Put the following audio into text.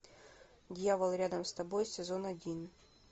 дьявол рядом с тобой сезон один